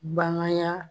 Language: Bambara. Bananya